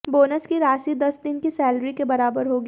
bonus की राशि दस दिन की सैलरी के बराबर होगी